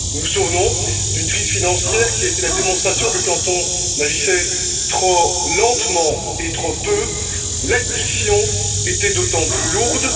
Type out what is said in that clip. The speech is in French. Nous nous souvenons d'une crise financière qui a été la démonstration que, quand on agissait trop lentement et trop peu, l'addition était d'autant plus lourde.